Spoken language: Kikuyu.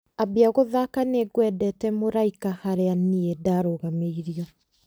ambia gũthaaka nĩngwendete mũraika harĩa niĩ ndarũgamĩirio